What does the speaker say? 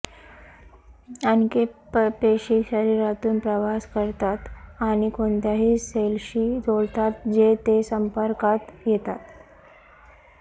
NK पेशी शरीरातून प्रवास करतात आणि कोणत्याही सेलशी जोडतात जे ते संपर्कात येतात